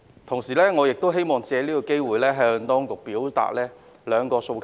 同時，我希望借此機會向當局表達兩個訴求。